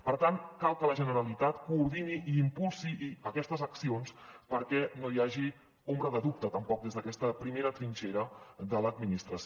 per tant cal que la generalitat coordini i impulsi aquestes accions perquè no hi hagi ombra de dubte tampoc des d’aquesta primera trinxera de l’administració